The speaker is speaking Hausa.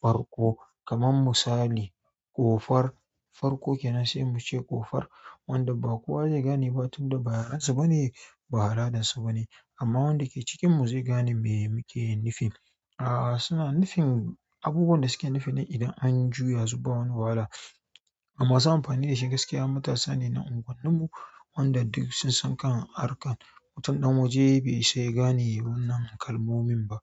farko. Kaman misali, ƙofar farko kenan sai muce ƙofar wanda ba kowa zai gane ba tunda ba yarensu bane, ba alladansu bane amma wanda ke cikinmu zai gane me muke nufi. A'a, suna nufin abubuwan da suke nufi idan an juya su ba wani wahala. Masu amfani da shi gaskiya matasa ne na unguwanninmu wanda duk sun san kan arkan. Mutum ɗan waje bai isa ya gane wannan kalmomin ba.